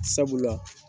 Sabula